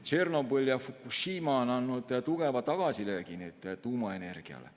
Tšornobõl ja Fukushima on andnud tugeva tagasilöögi tuumaenergiale.